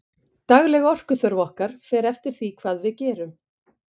dagleg orkuþörf okkar fer eftir því hvað við gerum